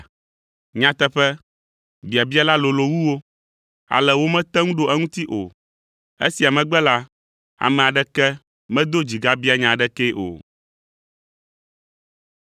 Nyateƒe, biabia la lolo wu wo, ale womete ŋu ɖo eŋuti o. Esia megbe la, ame aɖeke medo dzi gabia nya aɖekee o.